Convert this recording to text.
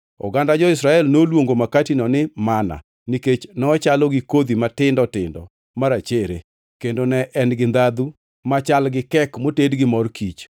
Oganda jo-Israel noluongo makatino ni manna nikech nochalo gi kodhi matindo tindo marachere, kendo ne en gi ndhandhu machal gi kek moted gi mor kich.